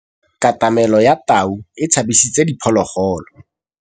Katamêlô ya tau e tshabisitse diphôlôgôlô.